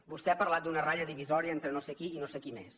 vostè ha parlat d’una ratlla divisòria entre no sé qui i no sé qui més